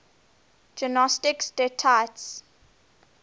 gnostic deities